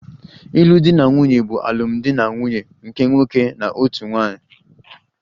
Ịlụ di na nwunye bụ alụmdi na nwunye nke nwoke na otu nwunye